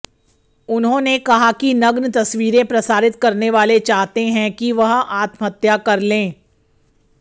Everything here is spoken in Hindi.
उन्होंने कहा कि नग्न तस्वीरें प्रसारित करने वाले चाहते हैं कि वह आत्महत्या कर लें